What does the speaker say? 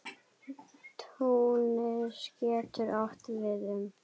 Túnis getur átt við um